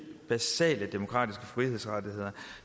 basale demokratiske frihedsrettigheder